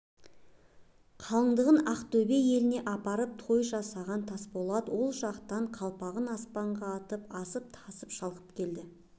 қалыңдығын ақтөбедегі еліне апарып той жасаған тасболат ол жақтан қалпағын аспанға атып асып-тасып шалықтап келді